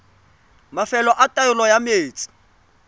mafelo a taolo ya metsi